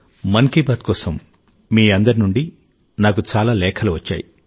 మన్ కీ బాత్ కోసం మీ అందరి నుండి నాకు చాలా లేఖలు వచ్చాయి